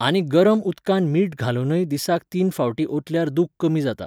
आनी गरम उदकांत मीठ घालुनूय दिसाक तीन फावटीं ओतल्यार दूख कमी जाता.